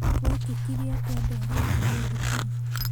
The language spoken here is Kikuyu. Gwekĩkire atĩa ndwarĩkirie thukuru